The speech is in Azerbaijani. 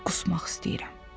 Qusmaq istəyirəm.